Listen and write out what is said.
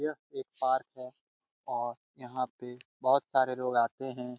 यह एक पार्क है और यहां पे बहुत सारे लोग आते हैं।